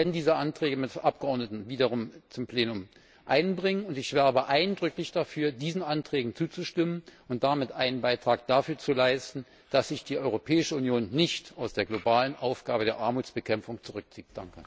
Wir werden diese Anträge wiederum mit Abgeordneten zum Plenum einbringen, und ich werbe eindrücklich dafür, diesen Anträgen zuzustimmen und damit einen Beitrag dafür zu leisten, dass sich die Europäische Union nicht aus der globalen Aufgabe der Armutsbekämpfung zurückzieht.